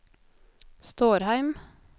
Stårheim